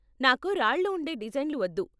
నాకు రాళ్ళు ఉండే డిజైన్లు వద్దు.